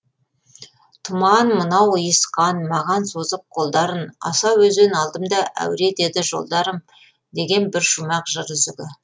тұман мынау ұйысқан маған созып қолдарын асау өзен алдымда әуре етеді жолдарым деген бір шумақ жыр үзігі